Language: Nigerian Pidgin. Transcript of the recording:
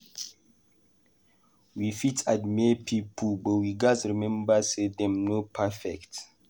We fit admire pipo, but we gatz remember say dem no perfect.